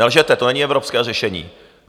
Nelžete, to není evropské řešení!